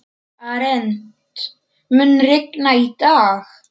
Arent, mun rigna í dag?